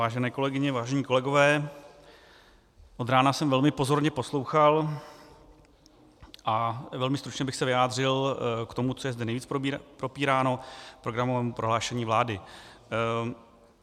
Vážené kolegyně, vážení kolegové, od rána jsem velmi pozorně poslouchal a velmi stručně bych se vyjádřil k tomu, co je zde nejvíc propíráno, programové prohlášení vlády.